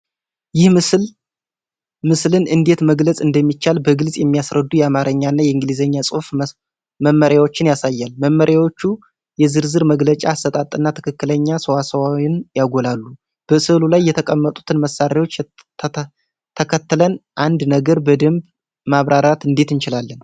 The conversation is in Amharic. ይህ ምስል ምስልን እንዴት መግለፅ እንደሚቻል በግልፅ የሚያስረዱ የአማርኛና የእንግሊዝኛ ጽሑፍ መመሪያዎችን ያሳያል። መመሪያዎቹ የዝርዝር መግለጫ አሰጣጥና ትክክለኛ ሰዋስውን ያጎላሉ። በሥዕሉ ላይ የተቀመጡትን መመሪያዎች ተከትለን አንድን ነገር በደንብ ማብራራት እንዴት እንችላለን?